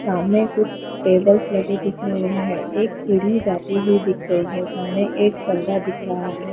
सामने कुछ टेबल्स लगे दिख रहे है एक सीढ़ी जाती हुई दिख रही है सामने एक पर्दा दिख रहा है।